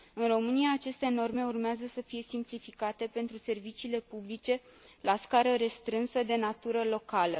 În România, aceste norme urmează să fie simplificate pentru serviciile publice la scară restrânsă, de natură locală.